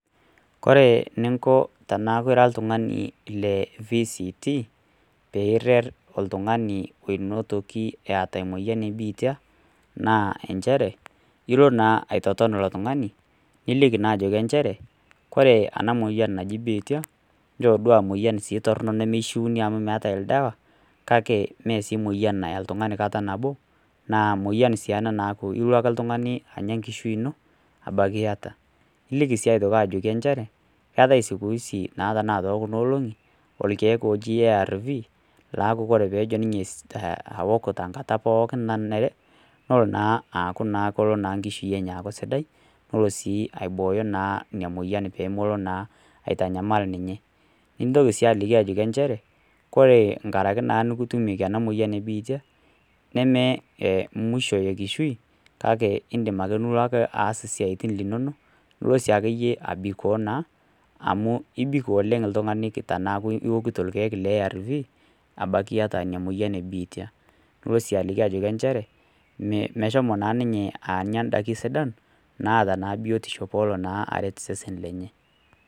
Kore eninko teneaku ira oltung'ani le VCT, pee iret oltung'ani oata emoyian e biitia, naa injere, ilo naa aitoton ilo tung'ani, niliki naa ajoki inchere, kore ena moyian naji biitia, njoo duo aa empyian torono nemeishuuni amu meatai oldawa, kake sii mee emoyian nayaa oltung'ani kata nabo, naa emoyian sii ena naaku ilo ake oltung'ani anya enkishui ino,, ebaiki iata. Niliki sii aitoki njere, keatai naa sikuisi naa tekuna olong'i, ilkeek oji ARV, laaku kore peejo ninye eok tenkata pooki nanare, nelo naa aaku kelo naa enkishui enye aaku sidai, pelo sii aibooyo ina moyian pee melo naa aitanyal ninye. Nintoki sii aliki njere, kore naa enkaaraki nikitutumieki ena moyian e biitia, nemee musho enkishui, kake indim ake nilo aas isiaitin linono, nilo sii ake iyie abikoo naa, amu ibik oleng' teneaku iokito oltung'ani ilkeek le ARV, abaiki iata ina moyian e biitia. Nilo sii joki nchere, meshomo naa ninye anya indaikin sidan, naata naa biotisho naa peelo aret osesen lenye.